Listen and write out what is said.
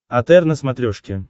отр на смотрешке